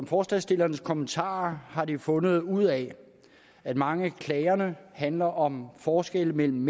forslagsstillernes kommentarer har de fundet ud af at mange af klagerne handler om forskelle mellem